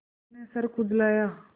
मोरू ने सर खुजलाया